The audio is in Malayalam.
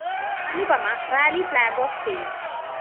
അനുപമ റാലി ഫ്ലാഗ്‌ ഓഫ്‌ ചെയ്യും